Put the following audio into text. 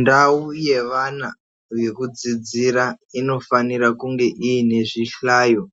Ndawu yevana yekudzidzira, inofanira kunge inezvihlayo